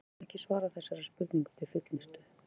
Við getum ekki svarað þessari spurningu til fullnustu.